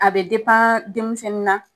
A be depan denmisɛnnin na